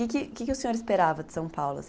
Que que o senhor esperava de São Paulo?